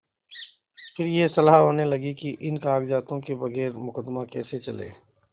फिर यह सलाह होने लगी कि इन कागजातों के बगैर मुकदमा कैसे चले